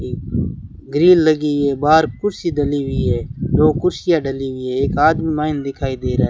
green लगी है बाहर कुर्सी डली हुई है दो कुर्सियां डली हुई है एक आदमी मैन दिखाई दे रहा --